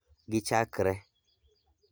Gichakre